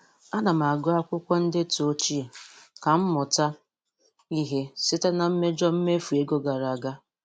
A na m agụ akwụkwọ ndetu ochie ka m mụta ihe site na mmejọ mmefu ego gara aga